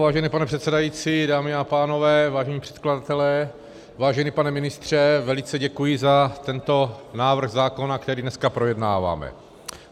Vážený pane předsedající, dámy a pánové, vážení předkladatelé, vážený pane ministře, velice děkuji za tento návrh zákona, který dneska projednáváme.